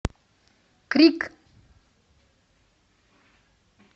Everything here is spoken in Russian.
крик